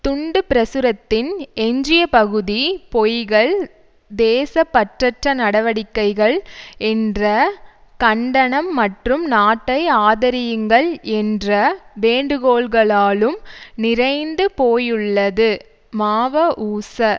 துண்டு பிரசுரத்தின் எஞ்சிய பகுதி பொய்கள் தேசப்பற்றற்ற நடவடிக்கைகள் என்ற கண்டனம் மற்றும் நாட்டை ஆதரியுங்கள் என்ற வேண்டுகோள்களாலும் நிறைந்து போயுள்ளது மாவஊச